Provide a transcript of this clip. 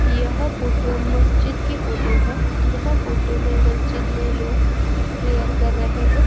यह फोटू मस्जिद की फोटो हैं यह फोटू में मस्जिद में लोग प्रियर कर रहें हैं।